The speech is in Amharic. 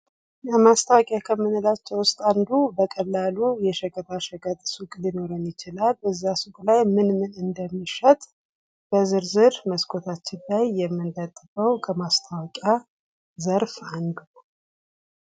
ለማስታወቂያ ከምንላቸው ውስጥ አንዱ በቀላሉ የሸቀጣሸቀጥ ሱቅ ሊኖረን ይችላል እዚያ ሱቅ ላይ ምን ምን እንደሚሸጥ በዝርዝር ከመስኮታችን ላይ የምንለጥፈው ከማስታወቂያ ዘርፍ አንዱ ነው ::